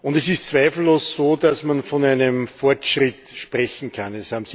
Es ist zweifellos so, dass man von einem Fortschritt sprechen kann.